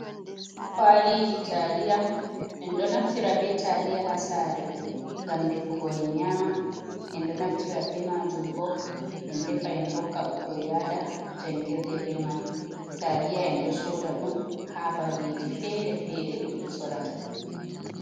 Kwali ji taliya. Enɗo naftira be taliya ha sare, ngam defugo en nyama. Enɗo naftira be majum bo en defa en hokka bikkoi ya da jangirde be man, taliya enɗo soda ɗum ha babeji fere fere jeɓe sodata.